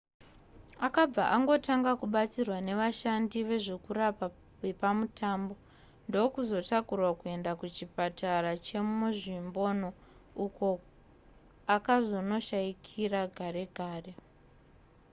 akabva angotanga kubatsirwa nevashandi vezvokurapa vepamutambo ndokuzotakurwa kuenda kuchipatara chemunzvimbomo uko akazonoshayikira gare gare